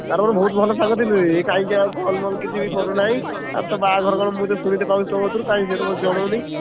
ତାର ମୋର ବହୁତ ଭଲ ସାଙ୍ଗ ଥିଲୁ କାଇଁ ଆଉ call ଫଲ କିଛି ବି କରୁନାହିଁ। ବାହାଘର କଣ ଶୁଣିତେ ପାଉଛି ତୋ କତୁରୁ ସେ ତ କାଇଁ ସେ ତ ମତେ ଜନଉନି।